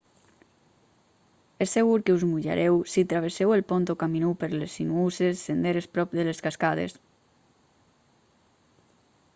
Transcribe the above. és segur que us mullareu si travesseu el pont o camineu per les sinuoses senderes prop de les cascades